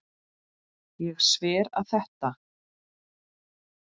Ég sver að þetta.